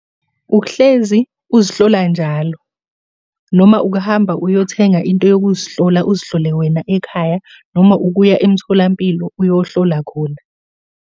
Ukuhlezi uzihlola njalo noma ukuhamba uyothenga into yokuzihlola uzihlole wena ekhaya, noma ukuya emtholampilo uyohlola khona.